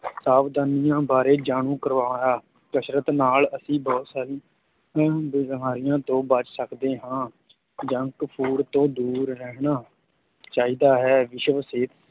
ਸਾਵਧਾਨੀਆਂ ਬਾਰੇ ਜਾਣੂ ਕਰਵਾਇਆ, ਕਸਰਤ ਨਾਲ ਅਸੀਂ ਬਹੁਤ ਸਾਰੀਆਂ ਬਿਮਾਰੀਆਂ ਤੋਂ ਬਚ ਸਕਦੇ ਹਾਂ junk food ਤੋਂ ਦੂਰ ਰਹਿਣਾ ਚਾਹੀਦਾ ਹੈ ਵਿਸ਼ਵ ਸਿਹਤ